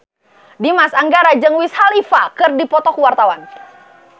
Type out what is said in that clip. Dimas Anggara jeung Wiz Khalifa keur dipoto ku wartawan